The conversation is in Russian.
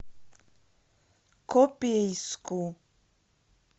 копейску